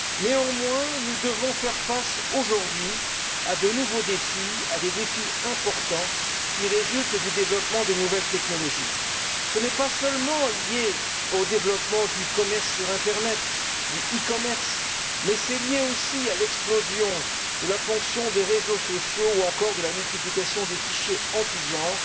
Néanmoins, nous devons faire face, aujourd'hui, à de nouveaux défis, à des défis importants qui résultent du développement des nouvelles technologies. Ce n'est pas seulement lié au développement du commerce sur internet, du e commerce, mais c'est lié aussi à l'explosion de la fonction des réseaux sociaux ou encore à la multiplication des fichiers en tous genres.